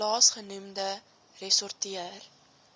laas genoemde ressorteer